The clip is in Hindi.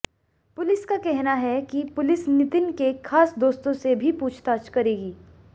पुलिस का कहना है कि पुलिस नितिन के खास दोस्तों से भी पूछताछ करेगी